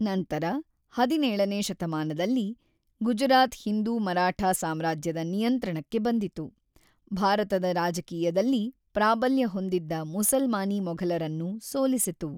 ನಂತರ ಹದಿನೇಳನೇ ಶತಮಾನದಲ್ಲಿ, ಗುಜರಾತ್ ಹಿಂದೂ ಮರಾಠಾ ಸಾಮ್ರಾಜ್ಯದ ನಿಯಂತ್ರಣಕ್ಕೆ ಬಂದಿತು, ಭಾರತದ ರಾಜಕೀಯದಲ್ಲಿ ಪ್ರಾಬಲ್ಯ ಹೊಂದಿದ್ದ ಮುಸಲ್ಮಾನೀ ಮೊಘಲರನ್ನು ಸೋಲಿಸಿತು.